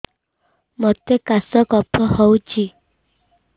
ମୋତେ କାଶ କଫ ହଉଚି